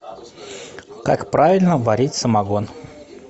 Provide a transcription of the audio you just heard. как правильно варить самогон